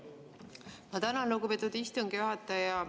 Ma tänan, lugupeetud istungi juhataja!